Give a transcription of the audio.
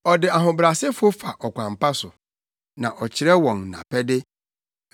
Ɔde ahobrɛasefo fa ɔkwan pa so na ɔkyerɛ wɔn nʼapɛde.